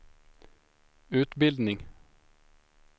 utbildning